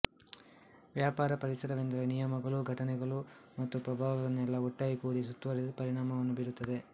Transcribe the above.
ವ್ಯಾಪಾರ ಪರಿಸರವೆಂದರೆ ನಿಯಮಗಳೂ ಘಟನೆಗಳೂ ಮತ್ತು ಪ್ರಭಾವಗಳನ್ನೆಲ್ಲಾ ಒಟ್ಟಾಗಿ ಕೂಡಿ ಸುತ್ತುವರೆದು ಪರಿಣಾಮವನ್ನು ಬಿರುತ್ತದೆ